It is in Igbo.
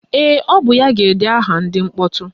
Ee, ọ bụ ya ga-ede aha ndị mkpọtụ